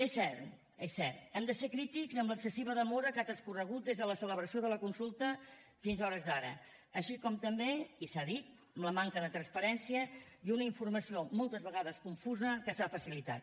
és cert és cert hem de ser crítics amb l’excessiva demora que ha transcorregut des de la celebració de la consulta fins a hores d’ara així com també i s’ha dit amb la manca de transparència i una informació moltes vegades confusa que s’ha facilitat